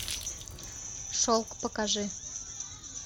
шелк покажи